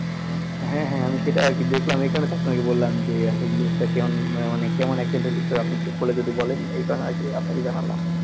হ্যাঁ হ্যাঁ আমি সেটা আরকি দেখলাম, এই কারনেই তো আপনাকে বললাম যে আসলে news টা কেমন মানে অনেক কেমন accidental আপনি একটু খুলে যদি বলেন এই কারণে আরকি আপনাকে জানালাম